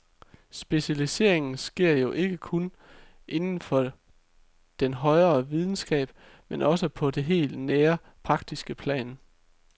Specialiseringen sker jo ikke kun inden for den højere videnskab, men også på det helt nære, praktiske plan.